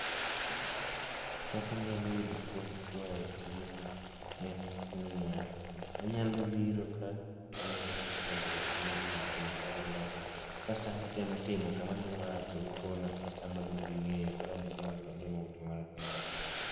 Kaka anyalo yudo puonj koa a e tijni en niya, anyalo biro ka taneno kaka jogi timo gini kendo kaka gilose kasto an be atemo timo kama adhi marach to gikona kasto an be abedo gi ng'eyo koro an be chieng' moro atimo gimoro kenda